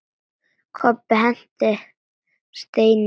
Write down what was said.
Kobbi henti steini í dyrnar.